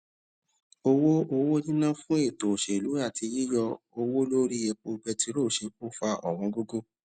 owó owó níná fún ètò òṣèlú àti yíyọ owó lórí epo bẹtiró ṣe kó fa òwón gógó